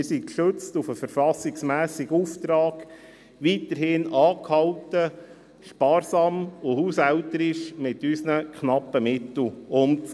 Gestützt auf den verfassungsmässigen Auftrag sind wir weiterhin angehalten, sparsam und haushälterisch mit unseren knappen Mitteln umzugehen.